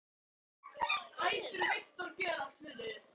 Eldar, hvað geturðu sagt mér um veðrið?